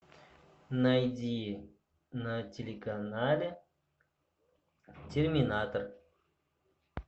найди на телеканале терминатор